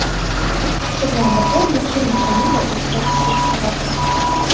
Shu bilan birga multfilm janri o‘zgarishsiz qoladi.